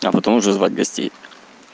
а потом уже звать гостей